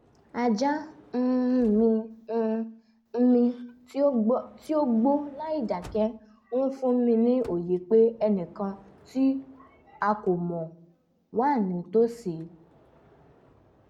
ajá um mi um mi tí ó gbó láìdákẹ́ ń fún ni ní òye pé ẹnìkan tí a kò mọ̀ wà nítòsí